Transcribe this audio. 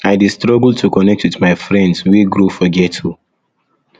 i dey struggle to connect wit my friends wey grow for ghetto